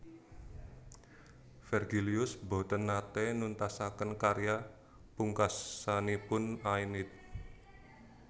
Vergilius boten naté nuntasaken karya pungkasanipun Aeneid